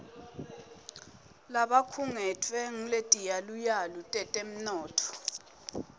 labakhungetfwe nguletiyaluyalu tetemnotfo